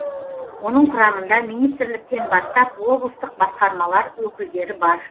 оның құрамында министрліктен бастап облыстық басқармалар өкілдері бар